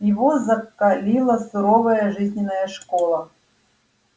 его закалила суровая жизненная школа